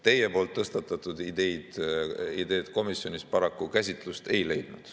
Teie tõstatatud ideed komisjonis paraku käsitlust ei leidnud.